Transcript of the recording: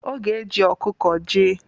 Ọ ga-eji ọkụkọ jee.